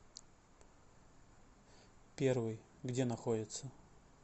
первый где находится